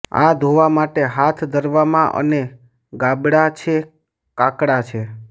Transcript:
આ ધોવા માટે હાથ ધરવામાં અને ગાબડા છે કાકડા છે